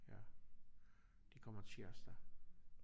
Ja de kommer tirsdag